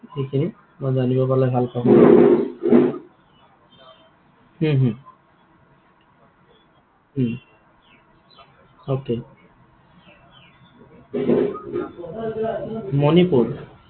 সেইখিনি? মই জানিব পালে ভাল পাম। হম হম উম okay মণিপুৰ?